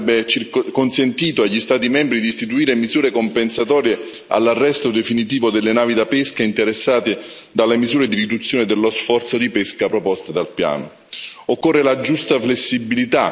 Oltre alle misure di arresto temporaneo, andrebbe consentito agli Stati membri di istituire misure compensatorie all'arresto definitivo delle navi da pesca interessate dalle misure di riduzione dello sforzo di pesca proposte dal piano.